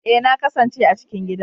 Ee, na kasance a cikin gida